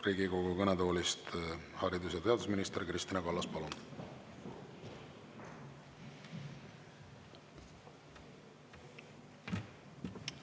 Riigikogu kõnetoolist haridus- ja teadusminister Kristina Kallas, palun!